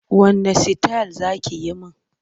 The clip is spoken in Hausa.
Wanne sitayil za ki yi min?